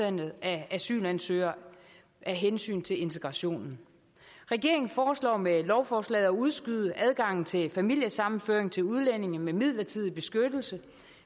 antallet af asylansøgere af hensyn til integrationen regeringen foreslår med lovforslaget at udskyde adgangen til familiesammenføring til udlændinge med midlertidig beskyttelse